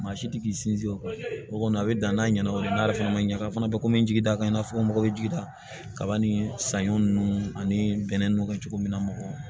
Maa si tɛ k'i sinsin o kɔni a bɛ dan n'a ɲɛna o ye n'a yɛrɛ fana ma ɲa a fana bɛ ko n jigi da kan i n'a fɔ n mago bɛ jigi da kaba ni saɲɔ ninnu ani bɛnɛ ninnu ka cogo min na